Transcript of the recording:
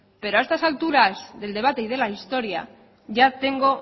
pero a estas alturas del debate y de la historia ya tengo